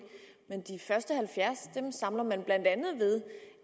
men de første halvfjerds point samler man blandt andet ved